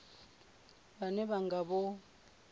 vhane vha nga vha vho